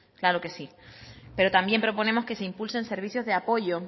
claro que sí pero también proponemos que se impulsen servicios de apoyo